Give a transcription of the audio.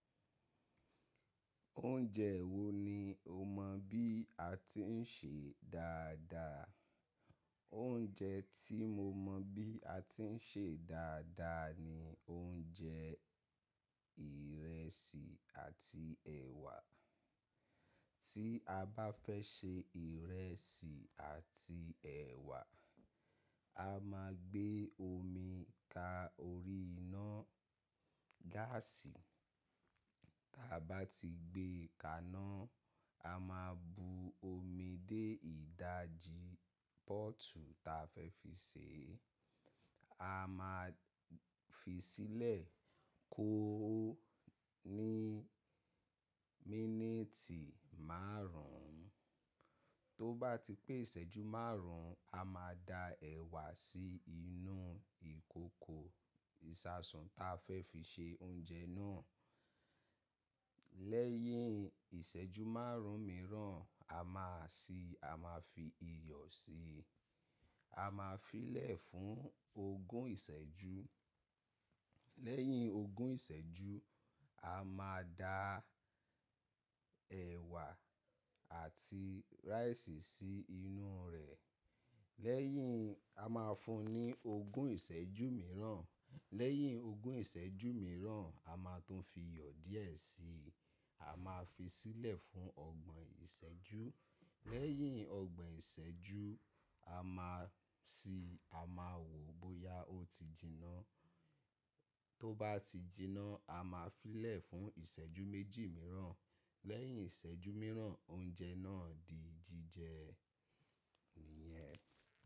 Oúnjẹ wo ni o mọ bí a ti ń ṣe dáadáa? Oúnjẹ tí mo mọ bí a ti ń ṣe dáadáa ni oúnjẹ ìrẹsì àti ẹ̀wà. Tí a bá fẹ́ ṣe ìrẹsì àti ẹ̀wà, a máa gbé omi ka orí iná gáàsì. Ta bá ti gbé kà áná, a máa bu omi dé ìdajì póòtù ta fẹ́ fi sèé. A máa fi sílẹ̀ kó ó ní mínìtì márùn ún. Tó bá ti pé ìṣẹ́jú márùn ún, a máa da ẹ̀wà sí inú ìkòkò ìṣasùn ta fẹ́ fi ṣe oúnjẹ náà. Lẹ́yìn ìṣẹ́jú márùn ún mìíràn, a máa si a máa fi iyọ̀ si. A máa fi í lẹ̀ fún ogún ìṣẹ́jú. Lẹ́yìn ogún ìṣẹ́jú, a máa da ẹ̀wà àti rice sí inú rẹ̀. Lẹ́yìn, a máa fun ní ogún ìṣẹ́jú mìíràn. Lẹ́yìn ogún ìṣẹ́jú mìíràn, a máa tún fi iyọ̀ díẹ̀ si. A máa fi í sílẹ̀ fún ọgbọ̀n ìṣẹ́jú. Lẹ́yìn ọgbọ̀n ìṣẹ́jú, a máa si a máa wò bóyá ó ti jinná. Tó bá ti jinná, a máa fi í lẹ̀ fún ìṣẹ́jú méjì mìíràn. Lẹ́yìn ìṣẹ́jú mìíràn, oúnjẹ náà di jíjẹ. Nìyẹn.